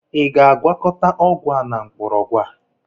Ị ga-agwakọta ọgwụ a na mgbọrọgwụ a?